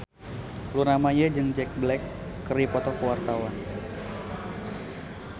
Luna Maya jeung Jack Black keur dipoto ku wartawan